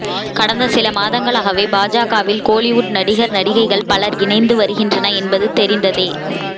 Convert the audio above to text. கடந்த சில மாதங்களாகவே பாஜகவில் கோலிவுட் நடிகர் நடிகைகள் பலர் இணைந்து வருகின்றனர் என்பது தெரிந்ததே